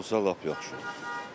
Elə olsa lap yaxşı olar.